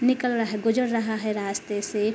निकल रहा है गुजर रहा है रास्ते से--